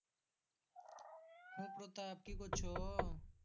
হু প্রতাব কি করছো?